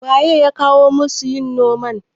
waye ya kawo masu yin noman?